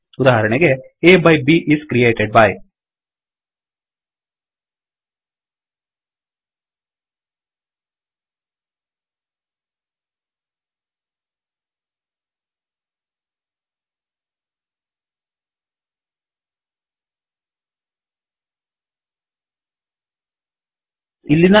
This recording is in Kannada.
ಉದಾಹರಣೆಗೆ A by B is created by ಆ ಬೈಬ್ ಕ್ರಿಯೇಟೆಡ್ ಬೈ